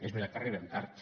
és veritat que arribem tard